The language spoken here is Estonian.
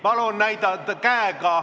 Palun näidake käega!